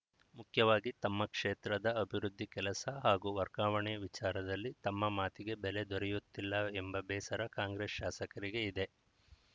ಮುಖ್ಯವಾಗಿ ತಮ್ಮ ಕ್ಷೇತ್ರದ ಅಭಿವೃದ್ಧಿ ಕೆಲಸ ಹಾಗೂ ವರ್ಗಾವಣೆ ವಿಚಾರದಲ್ಲಿ ತಮ್ಮ ಮಾತಿಗೆ ಬೆಲೆ ದೊರೆಯುತ್ತಿಲ್ಲ ಎಂಬ ಬೇಸರ ಕಾಂಗ್ರೆಸ್‌ ಶಾಸಕರಿಗೆ ಇದೆ